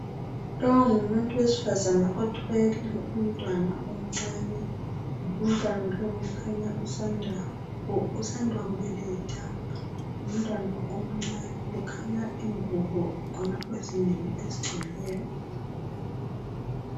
Lowu ngumuntu wesifazana othwele umntwana omncane umntwana lowu kukhanya usanda kubelethwa ngumntwana omncane kukhanya ingubo khonapho ezinengi ezigcweleyo.